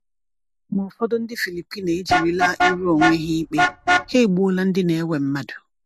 Ma ụfọdụ ndị Filipino ejirila ịrụ onwe ha ikpe — ha egbuola ndị na-ewe mmadụ!